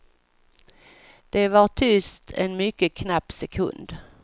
Det var tyst en mycket knapp sekund.